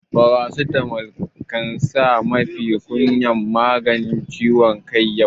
Paracetamol ya kasance mafi kyawun maganin ciwon kai a yau.